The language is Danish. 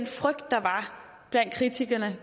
frygt der var blandt kritikerne